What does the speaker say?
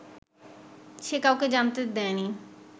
সে কাউকে জানতে দেয়নি